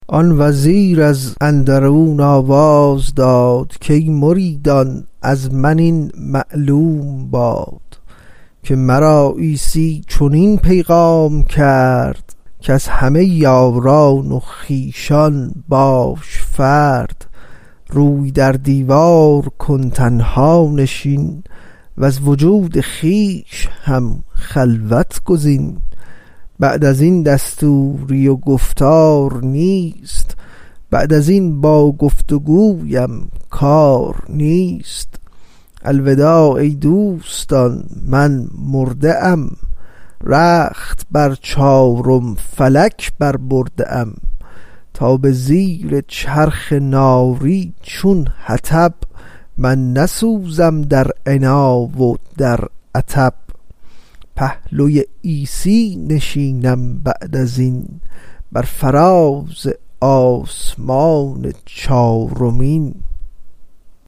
آن وزیر از اندرون آواز داد کای مریدان از من این معلوم باد که مرا عیسی چنین پیغام کرد کز همه یاران و خویشان باش فرد روی در دیوار کن تنها نشین وز وجود خویش هم خلوت گزین بعد ازین دستوری گفتار نیست بعد ازین با گفت و گویم کار نیست الوداع ای دوستان من مرده ام رخت بر چارم فلک بر برده ام تا به زیر چرخ ناری چون حطب من نسوزم در عنا و در عطب پهلوی عیسی نشینم بعد ازین بر فراز آسمان چارمین